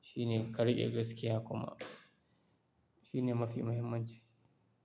Shine ka riƙe gaskiya kuma shine mafi mahimmanci.